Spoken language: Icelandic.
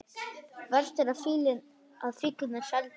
Verst að fíllinn er seldur.